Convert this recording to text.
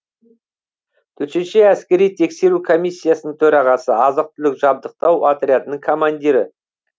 төтенше әскери тексеру комиссияның төрағасы азық түлік жабдықтау отрядының колмандирі